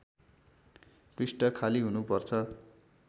पृष्ठ खाली हुनुपर्छ